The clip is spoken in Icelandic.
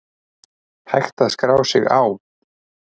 Hægt að skrá sig á